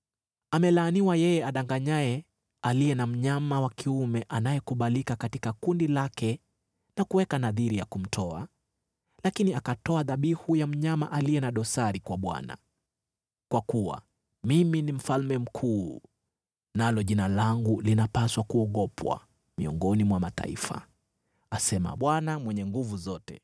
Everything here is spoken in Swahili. “Amelaaniwa yeye adanganyaye, aliye na mnyama wa kiume anayekubalika katika kundi lake na kuweka nadhiri ya kumtoa, lakini akatoa dhabihu ya mnyama aliye na dosari kwa Bwana . Kwa kuwa mimi ni Mfalme Mkuu, nalo Jina langu linapaswa kuogopwa miongoni mwa mataifa,” asema Bwana Mwenye Nguvu Zote.